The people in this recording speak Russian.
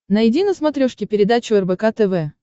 найди на смотрешке передачу рбк тв